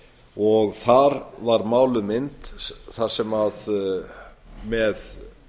og þar var máluð mynd þar sem með